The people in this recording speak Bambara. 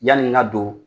Yani n ka don